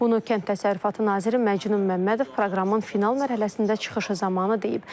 Bunu kənd təsərrüfatı naziri Məcnun Məmmədov proqramın final mərhələsində çıxışı zamanı deyib.